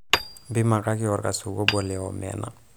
mpimakaki orkasuku obo leomena